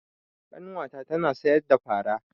Ƙanwa ta tana sayar da fara.